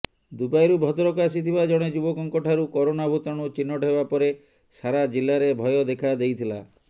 ଦୁବାଇରୁ ଭଦ୍ରକ ଆସିଥିବା ଜଣେ ଯୁବକଙ୍କଠାରୁ କରୋନା ଭୂତାଣୁ ଚିହ୍ନଟ ହେବା ପରେ ସାରା ଜିଲ୍ଲାରେ ଭୟ ଦେଖାଦେଇଥିଲା